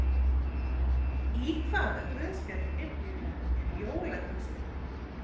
Í hvaða guðspjalli Biblíunnar er jólaguðspjallið?